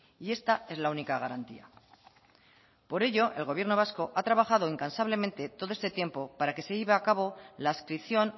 y esta es la única garantía por ello el gobierno vasco ha trabajado incansablemente todo este tiempo para que se lleve a cabo la adscripción